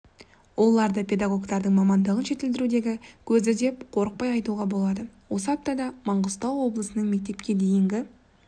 оларды педагогтардың мамандығын жетілдірудегі көзі деп қорықпай айтуға болады осы аптада маңғыстау облысының мектепке дейінгі